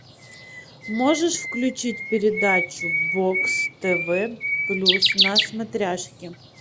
можешь включить передачу бокс тв плюс на смотряшке